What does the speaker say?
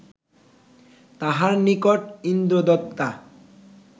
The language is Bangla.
তাঁহার নিকট ইন্দ্রদত্তা